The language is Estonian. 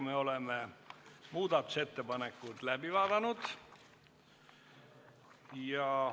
Oleme muudatusettepanekud läbi vaadanud.